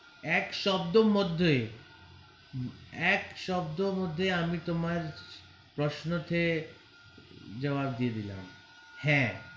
এক শব্দের মধ্যেই হম এক শব্দের মধ্যেই আমি তোমার প্রশ্নকে জবাব দিয়ে দিলাম হ্যা.